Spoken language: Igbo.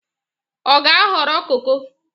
Ọ ga-aghọrọ koko?